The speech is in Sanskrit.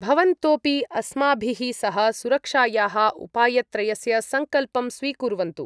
भवन्तोपि अस्माभिः सह सुरक्षायाः उपायत्रयस्य सङ्कल्पं स्वीकुर्वन्तु